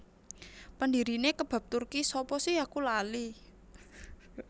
Pendirine Kebab Turki sapa si aku lali